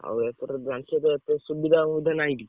ଆଉ ଏପଟର ଜାଣିଛ ତ ଏତେ ସୁବିଧା ଫୁବିଧା ନାହିଁ କିଛି।